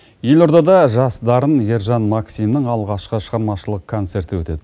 елордада жас дарын ержан максимнің алғашқы шығармашылық концерті өтеді